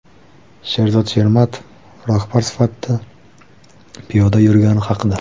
Sherzod Shermatov rahbar sifatida piyoda yurgani haqida.